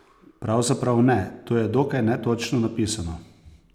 Pravzaprav ne, to je dokaj netočno napisano.